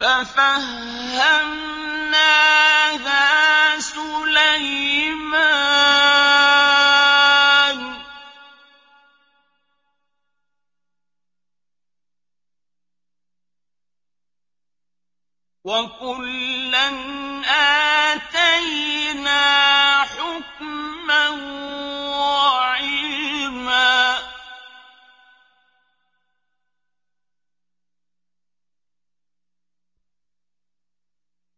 فَفَهَّمْنَاهَا سُلَيْمَانَ ۚ وَكُلًّا آتَيْنَا حُكْمًا وَعِلْمًا ۚ